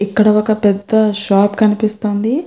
ఇక్కడ ఒక పెద్ధ షాప్ కనిపిస్తుంది.